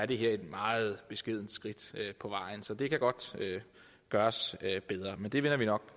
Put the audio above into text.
det her er et meget beskedent skridt på vejen så det kan godt gøres bedre men det vender vi nok